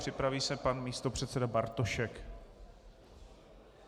Připraví se pan místopředseda Bartošek.